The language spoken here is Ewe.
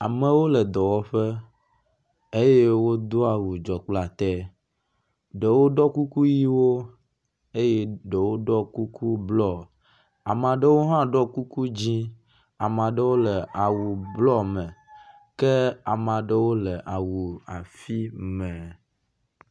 Amewo le dɔwɔƒe eye wodó awu dzɔkplatɛ ɖewo ɖɔ kukuyiwo eye ɖewo ɖɔ kuku blɔ amaɖewo hã woɖó kuku dzĩ amaɖewo le awu blɔ me ke amaɖewo le awu afi me